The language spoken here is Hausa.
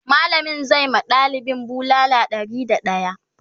mallamin zai ma ɗalibin bulala Ɗari da daya